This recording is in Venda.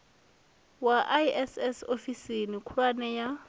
wa iss ofisini khulwane ya